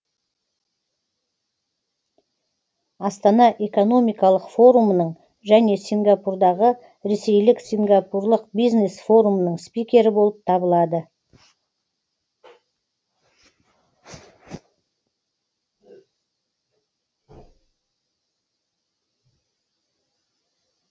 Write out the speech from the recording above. астана экономикалық форумының және сингапурдағы ресейлік сингапурлық бизнес форумның спикері болып табылады